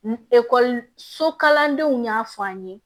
N ekɔliso kalandenw y'a fɔ an ye